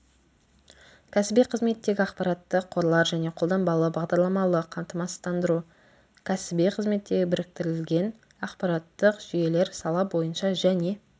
кәсіби қызметтегі ақпараттық қорлар және қолданбалы бағдарламалық қамсыздандыру кәсіби қызметтегі біріктірілген ақпараттық жүйелер сала бойынша және